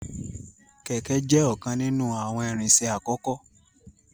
Kẹkẹ jẹ ọkan ninu awọn irinṣẹ akọkọ.